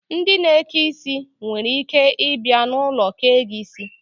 Ndị na-eke isi nwereike ịbịa n'ulo kee gị isi